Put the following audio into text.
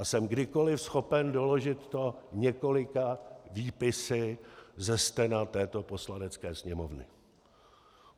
A jsem kdykoliv schopen doložit to několika výpisy ze stena této Poslanecké sněmovny.